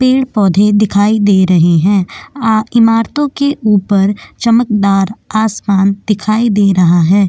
पेड़-पौधे दिखाई दे रहे हैं इमारतों के ऊपर चमकदार आसमान दिखाई दे रहा है।